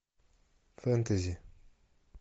фэнтези